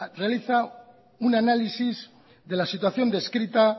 realiza un análisis de la situación descrita